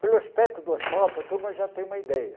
Pelo aspecto do asfalto, a turma já tem uma ideia.